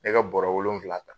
E ka bɔrɔ wolonfila ta.